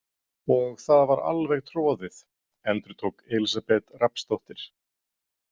Og það var alveg troðið, endurtók Elísabet Rafnsdóttir.